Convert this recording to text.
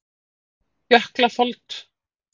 Jöklafold